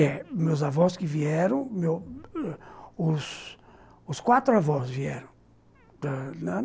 É, meus avós que vieram, meu os quatro avós vieram ãh...